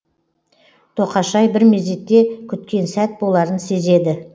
тоқашай бір мезетте күткен сәт боларын сезеді